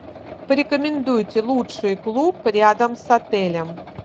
порекомендуйте лучший клуб рядом с отелем